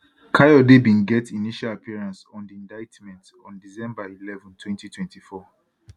kayode bin get initial appearance on di indictment on december eleven 2024